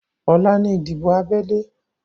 Ọ̀la ni ìdìbò abẹ́lé